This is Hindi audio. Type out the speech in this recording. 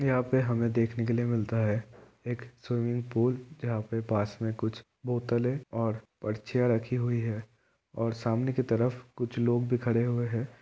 यहाँ पे हमें देखने के लिए मिलता है एक स्विमिंग पूल जहाँ पे पास में कुछ बोटेल है और चैर रखी हुई और सामने की तरफ कुछ लोग भी खड़े हुए है।